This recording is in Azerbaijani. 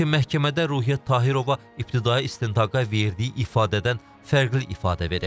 Lakin məhkəmədə Ruhiyyət Tahirova ibtidai istintaqa verdiyi ifadədən fərqli ifadə verib.